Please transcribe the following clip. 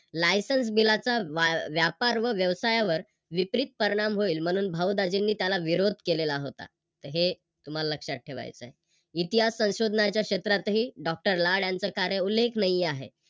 Licence बिलाचा व्य व्यापार व व्यवसायावर विपरीत परिणाम होईल म्हणून भाऊ दाजींनी त्याला विरोध केलेला होता तर हे तुम्हाला ठेवायचं आहे. इतिहास संशोधनाच्या क्षेत्रातही doctor लाड यांचं कार्य उल्लेखनीय आहे.